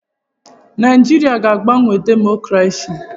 Naịjirịa aga-agbanwe demokrasi?